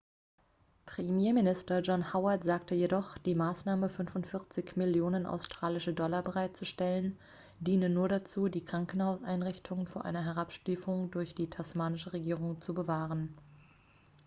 premierminister john howard sagte jedoch die maßnahme 45 millionen australische dollar bereitzustellen diene nur dazu die krankenhauseinrichtungen vor einer herabstufung durch die tasmanische regierung zu bewahren